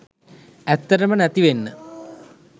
ඇත්තටම නැතිවෙන්න